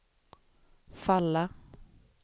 falla